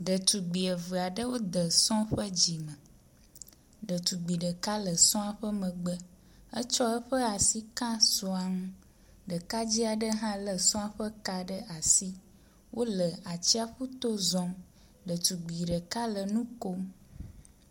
Ɖetugbui eve aɖewo de esɔ ƒe dzime, ɖetugbui ɖeka le sɔa ƒe megbe. Etsɔ asi ka sɔa ŋu, ɖekadze aɖe hã lé sɔa ƒe ka ɖe asi. Wole nu atsiaƒuto zɔm. Ɖetugbui ɖeka le nu kom.